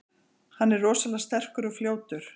Hann er rosalega sterkur og fljótur.